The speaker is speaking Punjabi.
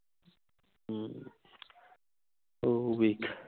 ਹਮ ਉਹ ਵੇਖ